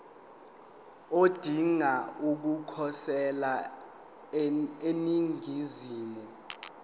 odinga ukukhosela eningizimu